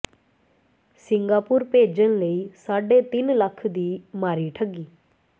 Singapore ਭੇਜਣ ਲਈ ਸਾਢੇ ਤਿੰਨ ਲੱਖ ਦੀ ਮਾਰੀ ਠੱਗੀ